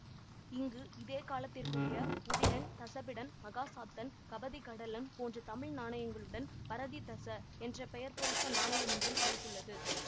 இங்கு இதே காலத்திற்குரிய உதிரன் தஸபிடன் மஹசாத்தன் கபதிகடலன் போன்ற தமிழ் நாணயங்களுடன் பரததிஸ என்ற பெயர் பொறித்த நாணயம் ஒன்றும் கிடைத்துள்ளது